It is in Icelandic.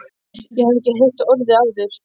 Ég hafði ekki heyrt orðið áður.